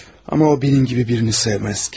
Ama o benim gibi birini sevmez ki.